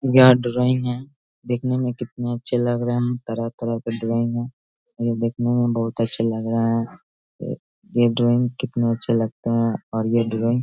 ये ड्राइंग है देखने में कितना अच्छा लग रहा हैं। तरह-तरह का ड्राइंग हैं ये देखने मे बहुत अच्छे लग रहा हैं ये ड्राइंग कितना अच्छा लगता हैं और ये ड्राइंग --